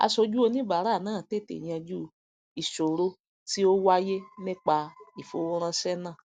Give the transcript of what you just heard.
asojú oníbàárà náà tètè yanjú ìsòro tí ó wáyé nípa ìfowóránsé náà